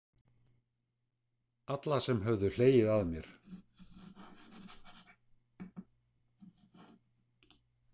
Alla sem höfðu hlegið að mér.